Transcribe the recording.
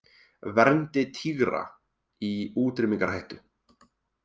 Verndi tígra í útrýmingarhættu